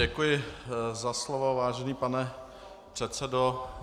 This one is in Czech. Děkuji za slovo, vážený pane předsedo.